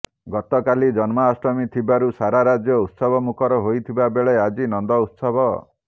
ଗତକାଲି ଜନ୍ମାଷ୍ଟମୀ ଥିବାରୁ ସାରା ରାଜ୍ୟ ଉତ୍ସବ ମୁଖର ହୋଇଥିବା ବେଳେ ଆଜି ନନ୍ଦ ଉତ୍ସବ